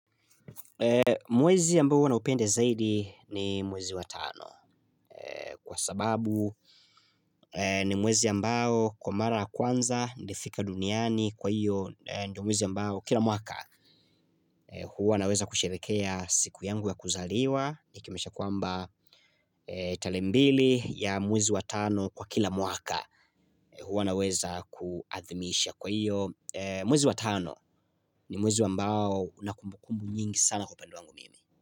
Mwwezi ambao huwa naupenda zaidi ni mwezi wa tano kwa sababu ni mwezi ambao kwa mara ya kwanza nilifika duniani kwa hiyo ndio mwezi ambao kila mwaka huwa naweza kusherekea siku yangu ya kuzaliwa Nikimaanisha kwamba tarehe mbili ya mwezi wa tano kwa kila mwaka huwa naweza kuadhimisha kwa hiyo mwezi wa tano ni mwezi ambao una kumbukumbu nyingi sana kwa upande wangu mimi.